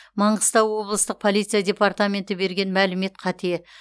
маңғыстау облыстық полиция департаменті берген мәлімет қате